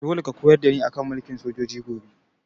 Dole ka koyar da ni a kan mulkin sojoji gobe!